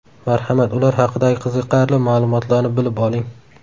Marhamat, ular haqidagi qiziqarli ma’lumotlarni bilib oling.